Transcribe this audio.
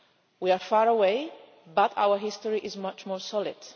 We are far away, but our history is much more solid.